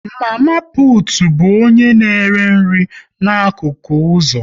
Mama putu bụ onye na-ere nri n'akụkụ ụzọ